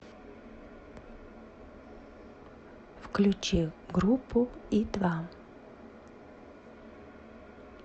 включи группу и два